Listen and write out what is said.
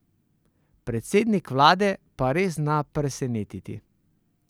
Predsednik vlade pa res zna presenetiti.